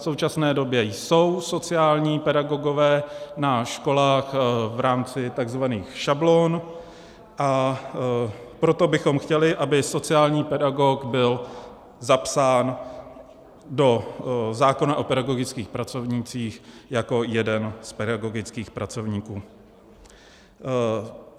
V současné době jsou sociální pedagogové na školách v rámci tzv. šablon, a proto bychom chtěli, aby sociální pedagog byl zapsán do zákona o pedagogických pracovnících jako jeden z pedagogických pracovníků.